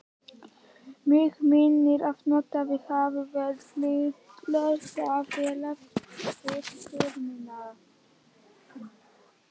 Mig minnir, að notaðar hafi verið litlar hrærivélar við steypuna.